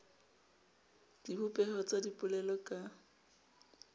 le dibopeho tsa dipolelo ka